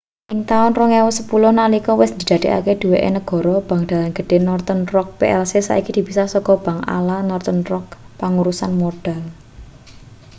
ing taun 2010 nalika wis didadekake duweke negara bank dalan gedhe northern rock plc saiki dipisah saka 'bank ala' northern rock pangurusan modal